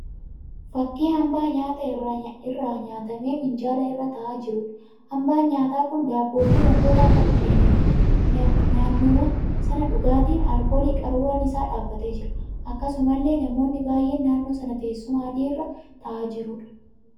Fakkii hambaa nyaataa irraa nyaatamee minjaala irra taa'aa jiruudha. Hambaan nyaataa kun daabboo fi wantoota akka biddeeniiti. Naannooma sana dhugaatiin alkoolii qaruuraa isaan dhaabbatee jira. Akkasumallee namoonnii baay'een naannoo sana teessuma adii irra taa'aa jirudha.